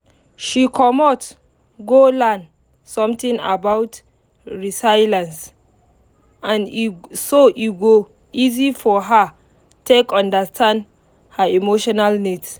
she commot go learn something about resilience so e go easy for her take understand her emotional needs